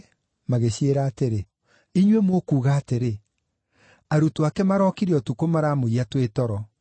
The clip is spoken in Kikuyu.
magĩciĩra atĩrĩ, “Inyuĩ mũkuuga atĩrĩ, ‘Arutwo ake marookire ũtukũ maramũiya twĩ toro.’